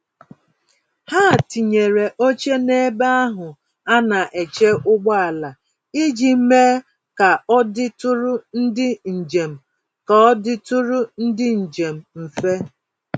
Ha tinyere óche n'ebe ahụ ana eche ụgbọala iji mee k'ọditụrụ ndị njem k'ọditụrụ ndị njem mfe